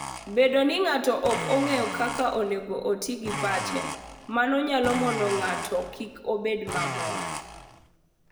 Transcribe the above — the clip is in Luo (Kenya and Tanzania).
Bedo ni ng'ato ok ong'eyo kaka onego oti gi pache, mano nyalo mono ng'ato kik obed mamor.